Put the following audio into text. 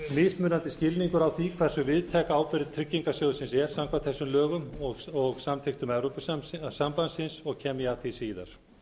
mismunandi skilningur á því hversu víðtæk ábyrgð tryggingarsjóðsins er samkvæmt þessum lögum og samþykktum evrópusambandsins og kem ég að því síðar